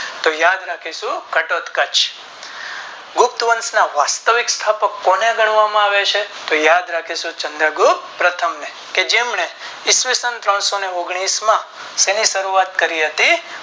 તો યાદ રાખીશું ઘાટોતઘચ ગુપ્ત વંશ ના વાસ્વિક સ્થાપક કોને ગણવામાં આવે છે તો યાદ રાખીશું ચંદ્ર ગુપ્ત પ્રથમ ને કે જેમને ઈસવીસન ઓગણીસો ને ત્રણ માં શેની શરૂઆત કરી હતી